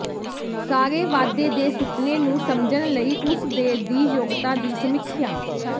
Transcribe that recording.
ਸਾਰੇ ਵਾਧੇ ਦੇ ਸੁਪਨੇ ਨੂੰ ਸਮਝਣ ਲਈ ਉਸ ਦੇ ਦੀ ਯੋਗਤਾ ਦੀ ਸਮੀਖਿਆ